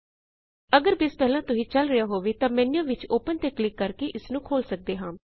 ਅਗਰ ਬੇਸ ਪਹਿਲਾਂ ਤੋ ਹੀ ਚਲ ਰਿਹਾ ਹੋਵੇ ਤਾਂ ਫਾਈਲ ਮੇਨ੍ਯੂ ਵਿਚ ਓਪਨ ਤੇ ਕਲਿਕ ਕਰਕੇ ਇਸਨੂੰਖੋਲ ਸਕਦੇ ਹਾਂ